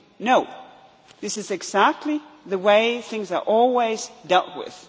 No, this is exactly the way things are always dealt